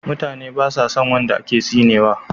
Mutane basa son wanda aka tsinewa